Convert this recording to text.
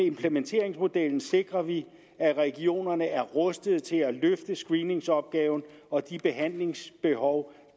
implementeringsmodellen sikrer vi at regionerne er rustet til at løfte screeningsopgaven og de behandlingsbehov